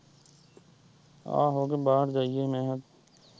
ਆਹੋ ਤੇ ਬਾਹਰ ਜਾਈਏ ਮੈਂ ਕਿਹਾ।